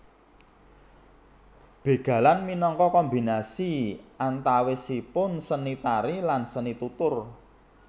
Bégalan minangka kombinasi antawisipun seni tari lan seni tutur